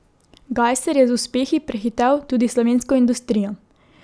Gajser je z uspehi prehitel tudi slovensko industrijo.